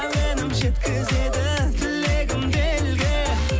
әуенім жеткізеді тілегімді елге